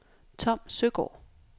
Tom Søgaard